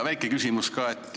Väike küsimus veel.